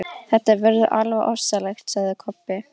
Þetta verður alveg ofsalegt, sagði Kobbi.